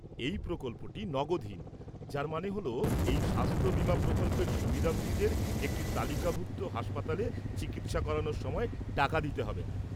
এই প্রকল্পটি নগদহীন, যার মানে হ'ল এই স্বাস্থ বিমা প্রকল্পের সুবিধাভোগীদের একটি তালিকাভুক্ত হাসপাতালে চিকিৎসা করানোর সময় টাকা দিতে হবে না।